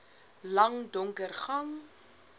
lang donker gang